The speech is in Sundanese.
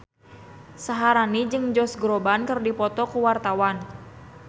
Syaharani jeung Josh Groban keur dipoto ku wartawan